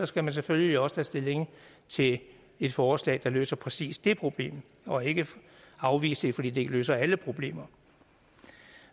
skal man selvfølgelig også tage stilling til et forslag der løser præcis det problem og ikke afvise det fordi det ikke løser alle problemer